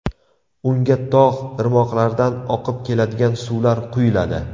Unga tog‘ irmoqlardan oqib keladigan suvlar quyuladi.